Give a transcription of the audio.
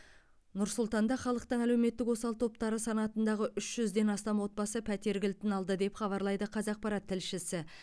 нұр сұлтанда халықтың әлеуметтік осал топтары санатындағы үш жүзден астам отбасы пәтер кілтін алды деп хабарлайды қазақпарат тілшісі